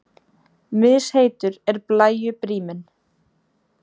Misheitur er blæju bríminn.